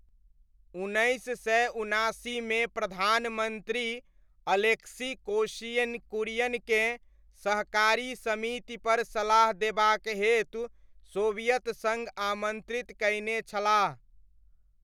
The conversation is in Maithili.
उन्नैस सय उनासीमे प्रधानमन्त्री अलेक्सी कोश्यिन कुरियनकेँ सहकारी समितिपर सलाह देबाक हेतु सोवियत सङ्घ आमन्त्रित कयने छलाह।